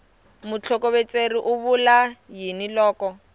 mutlhokovetseri u vula yini loko